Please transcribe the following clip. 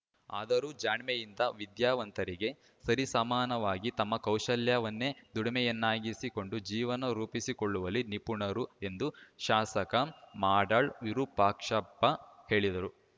ಆದರೂ ಜಾಣ್ಮೆಯಿಂದ ವಿದ್ಯಾವಂತರಿಗೆ ಸರಿ ಸಮಾನವಾಗಿ ತಮ್ಮ ಕೌಶಲ್ಯವನ್ನೇ ದುಡಿಮೆಯನ್ನಾಗಿಸಿ ಕೊಂಡು ಜೀವನ ರೂಪಿಸಿ ಕೊಳ್ಳುವಲ್ಲಿ ನಿಪುಣರು ಎಂದು ಶಾಸಕ ಮಾಡಾಳ್‌ ವಿರೂಪಾಕ್ಷಪ್ಪ ಹೇಳಿದರು